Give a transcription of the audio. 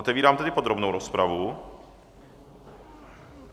Otevírám tedy podrobnou rozpravu.